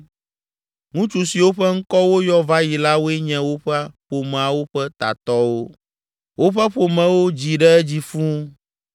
Ŋutsu siwo ƒe ŋkɔ woyɔ va yi la woe nye woƒe ƒomeawo ƒe tatɔwo. Woƒe ƒomewo dzi ɖe edzi fũu